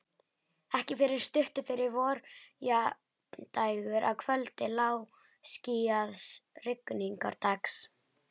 Ekki fyrr en stuttu fyrir vorjafndægur, að kvöldi lágskýjaðs rigningardags.